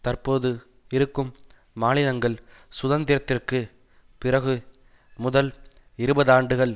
தற்போது இருக்கும் மாநிலங்கள் சுதந்திரத்திற்கு பிறகு முதல் இருபதாண்டுகள்